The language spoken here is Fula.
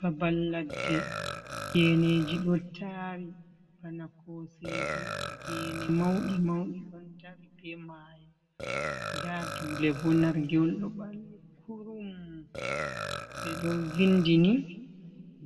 Babal laɗɗe, geneji ɗo taari bana koseje, geene mauɗi mauɗi ɗon darii, be maayo nda duule ɓo, narge’wol ɗo ɓalwii kurum, ɓeɗon vindi ni